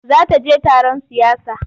Za ta je taron siyasa.